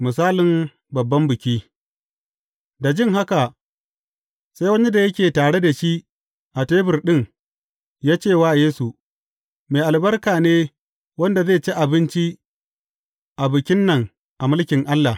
Misalin babban biki Da jin haka, sai wani da yake tare da shi a tebur ɗin, ya ce wa Yesu, Mai albarka ne wanda zai ci abinci a bikin nan a mulkin Allah.